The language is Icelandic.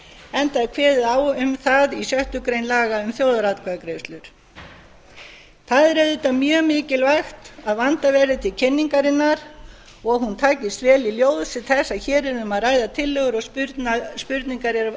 enda er kveðið á um það í sjöttu grein laga um þjóðaratkvæðagreiðslur það er auðvitað mjög mikilvægt að vandað verði til kynningarinnar og hún takist vel í ljósi þess að hér er um að ræða tillögur og spurningar er